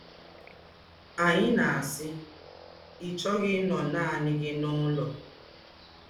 Ányị̀ na-ásị́: ‘Ị́ chọ́ghị̄ ínọ̀ nánị̀ gị n’úlọ̀